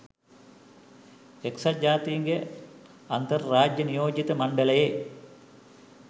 එක්සත් ජාතීන්ගේ අන්තර් රාජ්‍ය නියෝජිත මණ්ඩලයේ